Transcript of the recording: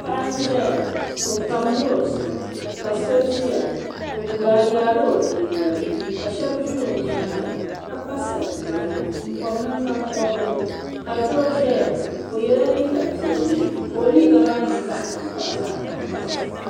Paɣa n-ʒeya o pamla o zuɣu ka so ʒiya o yaala o bia noli ka shɛba ʒi o nyaaŋa ka pa sar'piɛlli m-pɔbi nangban'pɔbirigu ka doo ʒeya o yela liiga piɛlli ka o liiga maa niŋ zaɣ'tankpaɣu zaɣ'tankpaɣu.